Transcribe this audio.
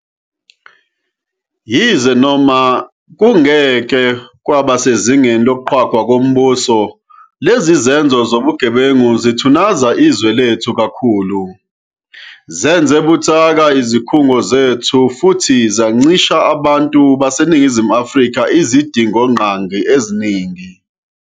Yize noma kungeke kube sezingeni lokuqhwagwa kombuso, lezi zenzo zobugebengu zithunaza izwe lethu kakhulu, zenze buthaka izikhungo zethu futhi zincisha abantu baseNingizimu Afrika izidingongqangi eziningi.